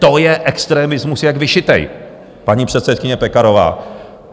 To je extremismus jak vyšitý, paní předsedkyně Pekarová.